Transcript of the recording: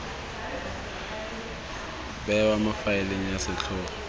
bewa mo faeleng ya setlhogo